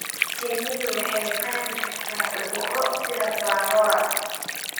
Shinnidu waxay qaadi kartaa cudurro sida Varroa.